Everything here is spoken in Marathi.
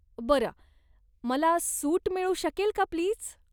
बरं, मला सूट मिळू शकेल का प्लीज?